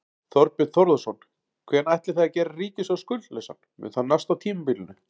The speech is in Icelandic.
Þorbjörn Þórðarson: Hvenær ætlið þið að gera ríkissjóð skuldlausan, mun það nást á tímabilinu?